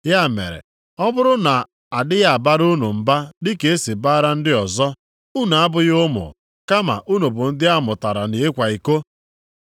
Ya mere ọ bụrụ na a dịghị abara unu mba dịka esi bara ndị ọzọ, unu abụghị ụmụ kama unu bụ ndị amụtara nʼịkwa iko.